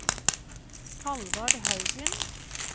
Halvard Haugen